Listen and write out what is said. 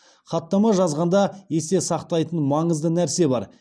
хаттама жазғанда есте сақтайтын маңызды нәрсе бар